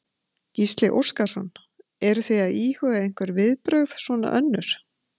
Gísli Óskarsson: Eruð þið að íhuga einhver viðbrögð svona önnur?